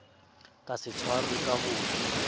ka se tshwarwe ka ho